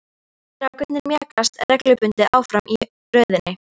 Strákarnir mjakast reglubundið áfram í röðinni.